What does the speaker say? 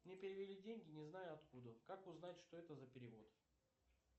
мне перевели деньги не знаю откуда как узнать что это за перевод